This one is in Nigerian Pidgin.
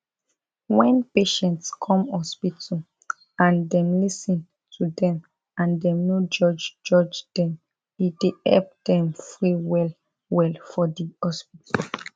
wen patient come hospital and dem lis ten to dem and dem no judge judge dem e dey help dem free well well for di hospital